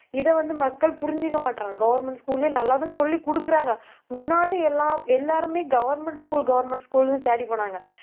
இதை வந்து, மக்கள் புரிஞ்சுக்க மாட்றாங்க. government school லயே நல்லாதான் சொல்லி கொடுக்குறாங்க முன்னாடி எல்லாம் எல்லாருமே government school government school ன்னு தேடிப் போனாங்க